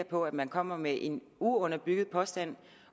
på at man kommer med en uunderbygget påstand